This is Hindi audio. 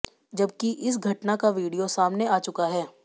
जबकि इस घटना का वीडियो सामने आ चुका है